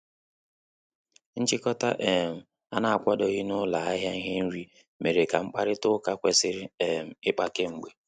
Nchikota um na-akwadoghị na ụlọ ahịa ihe nri mere ka mkparịta ụka ekwesiri um ikpa k'emgbe.